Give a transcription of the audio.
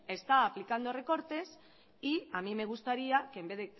está aplicando recortes y a mí me gustaría que en vez